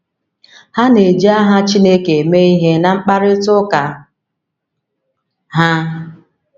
Ha na - eji aha Chineke eme ihe ná mkparịta ụka ha.